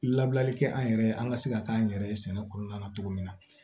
Labilali kɛ an yɛrɛ an ka se ka k'an yɛrɛ ye sɛnɛ kɔnɔna na cogo min na